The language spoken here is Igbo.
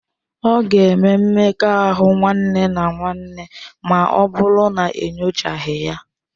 Ọ ga-eme mmekọahụ nwanne na nwanne ma ọ bụrụ na enyochaghị ya.